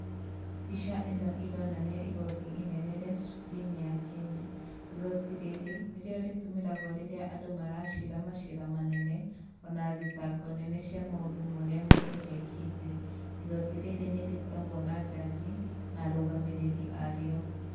Mbica ĩno ironania igoti inene rĩa Supreme ya Kenya. Igoti rĩrĩ , nĩrĩo rĩtũmĩragwo rĩrĩa andũ maracira macira manene, ona thitango nene cia maũndũ marĩa mũndũ ekĩte. Igoti rĩrĩ nĩ rĩkoragwo na njanji, na arũgamĩrĩrĩ arĩo.